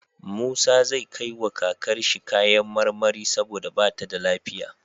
Musa zai kai wa kakar shi kayan marmari saboda bata da lafiya